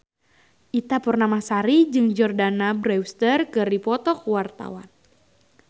Ita Purnamasari jeung Jordana Brewster keur dipoto ku wartawan